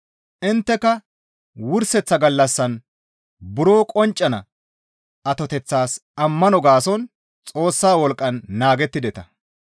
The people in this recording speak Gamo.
Intteka wurseththa gallassan buro qonccana atoteththaas ammano gaason Xoossa wolqqan naagettideta.